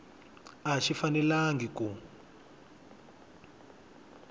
a xi fanelangi ku